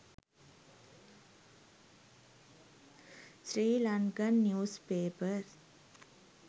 sri lankan news papers